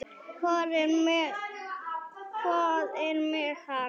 Hvað er með hann?